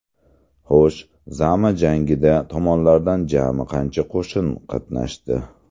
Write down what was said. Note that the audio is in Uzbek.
Xo‘sh, Zama jangida tomonlardan jami qancha qo‘shin qatnashdi?